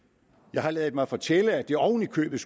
jeg har ladet mig fortælle at det oven i købet